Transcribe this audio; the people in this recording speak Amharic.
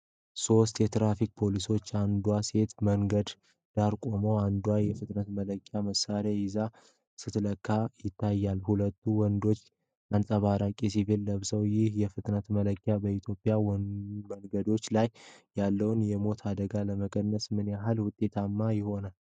ሦስት የትራፊክ ፖሊሶች (አንዷ ሴት) በመንገድ ዳር ቆመው አንዷ የፍጥነት መለኪያ መሣሪያ ይዛ ስትለካ ይታያል። ሁለቱ ወንዶች አንጸባራቂ ቬስት ለብሰዋል። ይህ የፍጥነት መለኪያ በኢትዮጵያ መንገዶች ላይ ያለውን የሞት አደጋ ለመቀነስ ምን ያህል ውጤታማ ይሆናል?